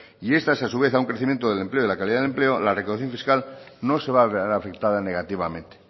y estas a su vez a un crecimiento del empleo y de la calidad del empleo la recaudación fiscal no se va a ver afectada negativamente